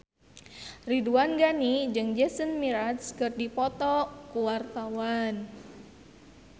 Ridwan Ghani jeung Jason Mraz keur dipoto ku wartawan